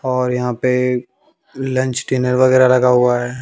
और यहां पे लंच डिनर वगैरा लगा हुआ है।